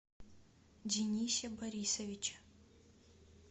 денисе борисовиче